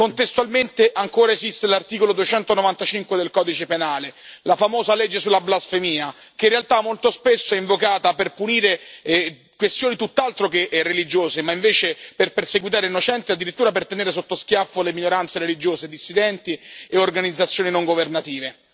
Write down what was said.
Contestualmente, ancora esiste l'articolo 295 del Codice penale, la famosa legge sulla blasfemia, che in realtà, molto spesso, è invocata per punire questioni tutt'altro che religiose e invece per perseguitare innocenti e addirittura per tenere sotto schiaffo le minoranze religiose dissidenti e organizzazioni non governative.